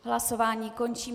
Hlasování končím.